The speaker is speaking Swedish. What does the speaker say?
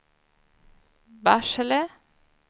Barsele